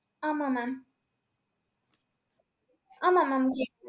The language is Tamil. ஆமா mam ஆமா mam கே~